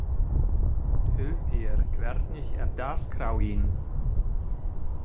Hyltir, hvernig er dagskráin?